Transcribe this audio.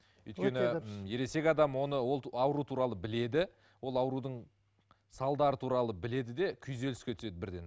өйткені м ересек адам оны ол ауру туралы біледі ол аурудың салдары туралы біледі де күйзеліске түседі бірден